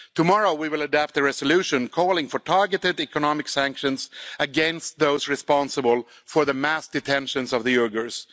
Tomorrow we will adopt a resolution calling for targeted economic sanctions against those responsible for the mass detentions of the Uyghurs.